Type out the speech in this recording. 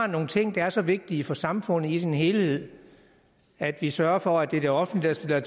nogle ting der er så vigtige for samfundet i sin helhed at vi sørger for at det er det offentlige der